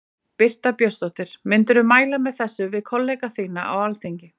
Birta Björnsdóttir: Myndirðu mæla með þessu við kollega þína á Alþingi?